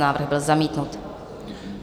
Návrh byl zamítnut.